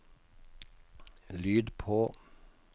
lyd på